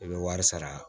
I bɛ wari sara